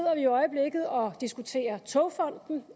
i øjeblikket og diskuterer togfonden